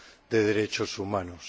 de derechos humanos.